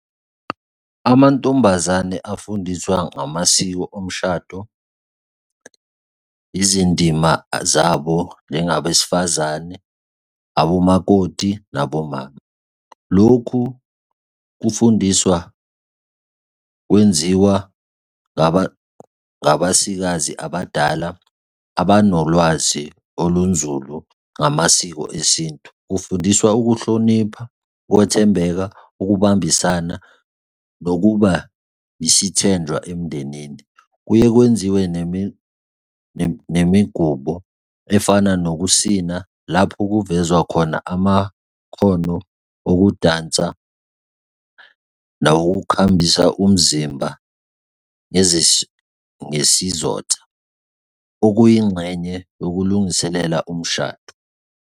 Amantombazane afundiswa ngamasiko omshado, izindima zabo njengabesifazane, abomakoti, nabomama. Lokhu kufundiswa kwenziwa ngabasikazi abadala abanolwazi olunzulu ngamasiko esintu. Kufundiswa ukuhlonipha, ukwethembeka, ukubambisana, nokuba yisithenjwa emndenini. Kuye kwenziwe nemigubo efana nokusina lapho kuvezwa khona amakhono okudansa nawokukhambisa umzimba ngesizotha okuyingxenye yokulungiselela umshado.